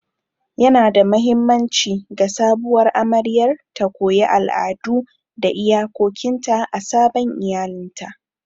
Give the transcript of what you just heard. Yanada mahimmanci ga sabuwar amaryar ta koyi al'adu da iyakokinta a sabon iyalinta.